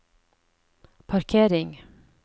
parkering